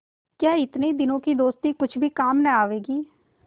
क्या इतने दिनों की दोस्ती कुछ भी काम न आवेगी